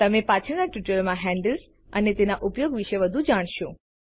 તમે પાછળના ટ્યુટોરિયલમાં હેન્ડલ્સ અને તેના ઉપયોગ વિશે વધુ જાણશો